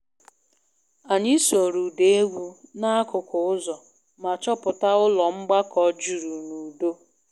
Anyị sooro ụda egwu n`akụkụ ụzọ ma chọpụta ụlọ mgbakọ juru n`udo